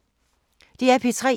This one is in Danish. DR P3